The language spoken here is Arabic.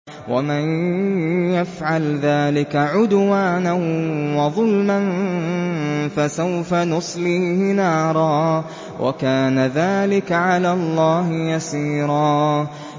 وَمَن يَفْعَلْ ذَٰلِكَ عُدْوَانًا وَظُلْمًا فَسَوْفَ نُصْلِيهِ نَارًا ۚ وَكَانَ ذَٰلِكَ عَلَى اللَّهِ يَسِيرًا